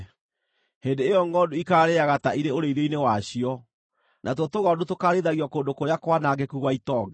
Hĩndĩ ĩyo ngʼondu ikaarĩĩaga ta irĩ ũrĩithio-inĩ wacio; natuo tũgondu tũkaarĩithagio kũndũ kũrĩa kwanangĩku gwa itonga.